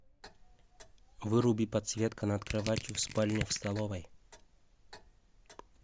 выруби подсветка над кроватью в спальне в столовой